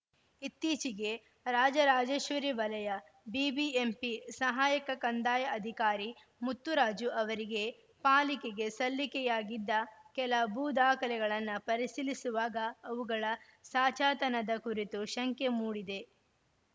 ಇತ್ತೀಚಿಗೆ ರಾಜರಾಜೇಶ್ವರಿ ವಲಯ ಬಿಬಿಎಂಪಿ ಸಹಾಯಕ ಕಂದಾಯ ಅಧಿಕಾರಿ ಮುತ್ತುರಾಜು ಅವರಿಗೆ ಪಾಲಿಕೆಗೆ ಸಲ್ಲಿಕೆಯಾಗಿದ್ದ ಕೆಲ ಭೂ ದಾಖಲೆಗಳನ್ನ ಪರಿಶೀಲಿಸುವಾಗ ಅವುಗಳ ಸಾಚಾತನದ ಕುರಿತು ಶಂಕೆ ಮೂಡಿದೆ